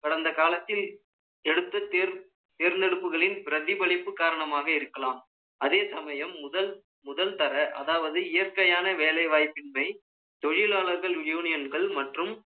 கடந்த காலத்தில் எடுத்து தேர்ந்தெடுப்புகளின் பிரதிபலிப்பு காரணமாக இருக்கலாம். அதே சமயம், முதல், முதல் தர, அதாவது, இயற்கையான வேலை வாய்ப்பின்மை, தொழிலாளர்கள் யூனியன்கள் மற்றும்